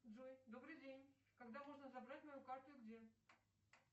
джой добрый день когда можно забрать мою карту и где